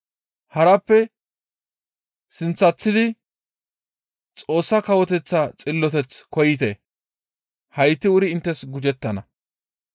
Harappe sinththatidi Xoossa Kawoteththa xilloteth koyite; hayti wuri inttes gujettana.